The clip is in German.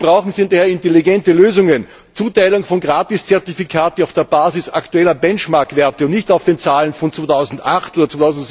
Was wir brauchen, sind intelligente Lösungen, eine Zuteilung von Gratiszertifikaten auf der Basis aktueller Benchmarkwerte und nicht auf den Zahlen von 2008 oder